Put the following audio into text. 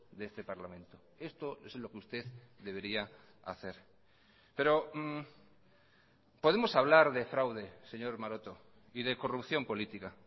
de este parlamento esto es lo que usted debería hacer pero podemos hablar de fraude señor maroto y de corrupción política